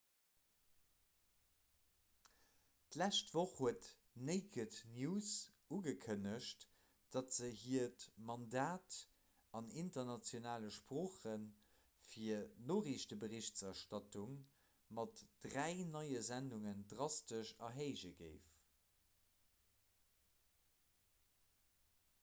d'lescht woch huet naked news ugekënnegt datt se hiert mandat an internationale sprooche fir noriichteberichterstattung mat dräi neie sendungen drastesch erhéije géif